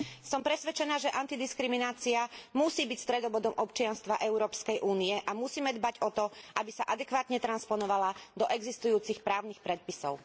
Som presvedčená, že anti diskriminácia musí byť stredobodom občianstva Európskej únie a musíme dbať o to, aby sa adekvátne transponovala do existujúcich právnych predpisov.